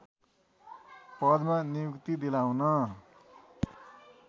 पदमा नियुक्ति दिलाउन